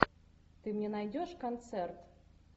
ты мне найдешь концерт